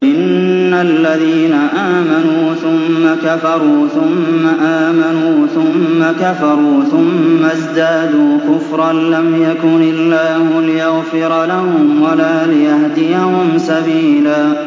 إِنَّ الَّذِينَ آمَنُوا ثُمَّ كَفَرُوا ثُمَّ آمَنُوا ثُمَّ كَفَرُوا ثُمَّ ازْدَادُوا كُفْرًا لَّمْ يَكُنِ اللَّهُ لِيَغْفِرَ لَهُمْ وَلَا لِيَهْدِيَهُمْ سَبِيلًا